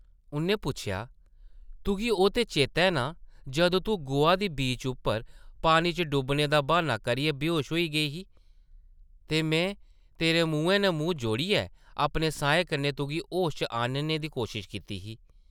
उʼन्नै पुच्छेआ, ‘‘तुगी ओह् ते चेतै नां जदूं तूं गोआ दी बीच उप्पर पानी च डुब्बने दा ब्हान्ना करियै बेहोश होई गेई ही, ते में तेरे मुंहै नै मूंह् जोड़ियै अपने साहें कन्नै तुगी होश च आह्नने दी कोशश कीती ही ?’’